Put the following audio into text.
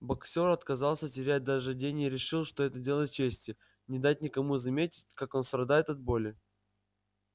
боксёр отказался терять даже день и решил что это дело чести не дать никому заметить как он страдает от боли